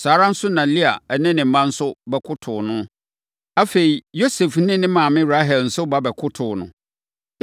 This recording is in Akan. Saa ara na Lea ne ne mma nso bɛkotoo no. Afei, Yosef ne ne maame Rahel nso ba bɛkotoo no.